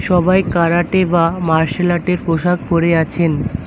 সবাই কারাটে বা মার্শাল আর্টের পোশাক পরে আছেন।